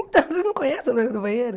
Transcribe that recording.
Então, você não conhece a loira do banheiro?